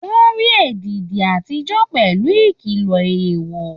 Wọ́n rí èdìdí àtijọ́ pẹ̀lú ìkìlọ̀ èèwọ̀